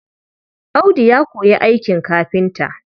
Audu ya koyi aikin kafinta.